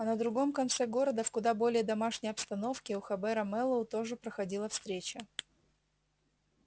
а на другом конце города в куда более домашней обстановке у хобера мэллоу тоже проходила встреча